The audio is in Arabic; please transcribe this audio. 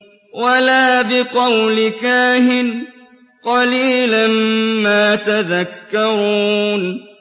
وَلَا بِقَوْلِ كَاهِنٍ ۚ قَلِيلًا مَّا تَذَكَّرُونَ